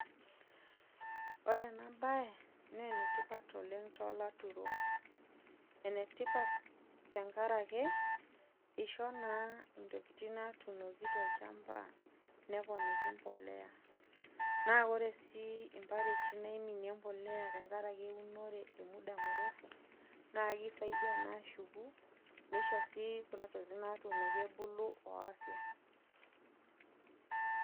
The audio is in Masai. Ore enabae na enetipat oleng tolaturok enetipat tenkaraki isho na ntokitin natuunoki tolchamba neponiki mbolea na ore si mbaliti naiminie embolea tenkaraki eunore na kisaidia na ashuku nishi si kunatokitin ebuku o afya